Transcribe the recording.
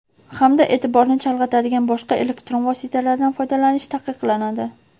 hamda eʼtiborni chalg‘itadigan boshqa elektron vositalardan foydalanish taqiqlanadi.